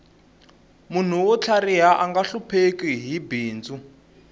munhu wo tlhariha anga hlupheki hi bindzu